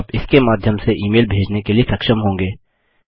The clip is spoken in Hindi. आप इसके माध्यम से ई मेल भेजने के लिए सक्षम होंगे